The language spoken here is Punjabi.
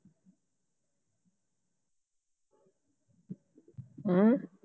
ਹਮ